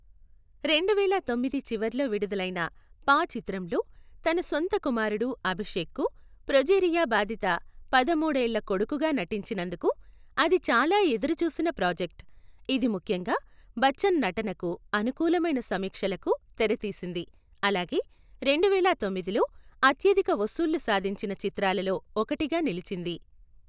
రెండువేల తొమ్మిది చివర్లో విడుదలైన పా చిత్రంలో తన సొంత కుమారుడు అభిషేక్కు ప్రొజెరియా బాధిత పదమూడు ఏళ్ల కొడుకుగా నటించినందుకు, అది చాలా ఎదురు చూసిన ప్రాజెక్ట్, ఇది ముఖ్యంగా బచ్చన్ నటనకు అనుకూలమైన సమీక్షలకు తెరతీసింది, అలాగే రెండువేల తొమ్మిదిలో అత్యధిక వసూళ్లు సాధించిన చిత్రాలలో ఒకటిగా నిలిచింది.